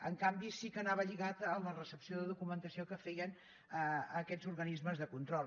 en canvi sí que anava lligat a la recepció de documentació que feien aquests organismes de control